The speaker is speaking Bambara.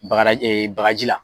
Bagada ee bagaji la.